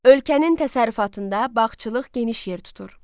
Ölkənin təsərrüfatında bağçılıq geniş yer tutur.